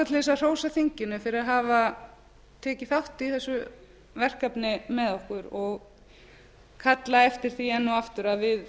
að hrósa þinginu fyrir að hafa tekið þátt í þessu verkefni með okkur og kallað eftir því enn og aftur að við